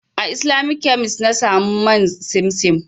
A Islamic kemis na samu man simsim.